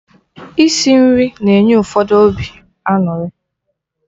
Isi nri na-enye ụfọdụ obi aṅụrị